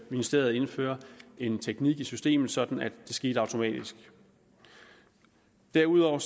ministeriet indføre en teknik i systemet sådan at det sker automatisk derudover